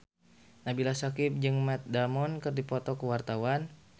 Nabila Syakieb jeung Matt Damon keur dipoto ku wartawan